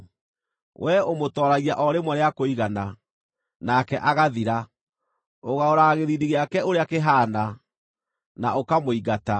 Wee ũmũtooragia o rĩmwe rĩa kũigana, nake agathira; ũgarũraga gĩthiithi gĩake ũrĩa kĩhaana, na ũkamũingata.